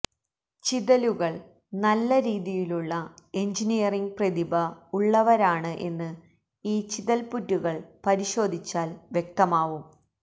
ചിതലുകൾ നല്ല രീതിയിലുള്ള എഞ്ചിനീയറിംഗ് പ്രതിഭ ഉള്ളവരാണ് എന്ന് ഈ ചിതപ്പുറ്റുകൾ പരിശോധിച്ചാൽ വ്യക്തമാവും